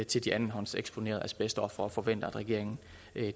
til de andenhåndseksponerede asbestofre vi forventer at regeringen